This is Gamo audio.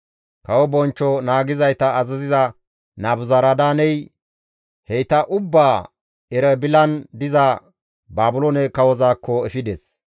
Kawo bonchcho naagizayta azaziza Nabuzaradaaney heyta ubbaa Erebilan diza Baabiloone kawozaakko efides.